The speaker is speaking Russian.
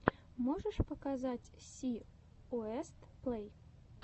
можешь показать си уэст плэй